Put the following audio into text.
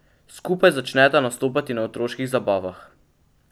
Skupaj začneta nastopati na otroških zabavah.